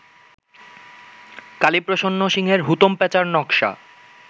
কালীপ্রসন্ন সিংহের হুতোম প্যাঁচার নক্শা